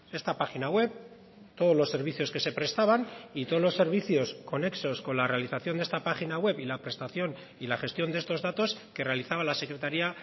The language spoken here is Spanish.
esta página web todos los servicios que se prestaban y todos los servicios conexos con la realización de esta página web y la prestación y la gestión de estos datos que realizaba la secretaria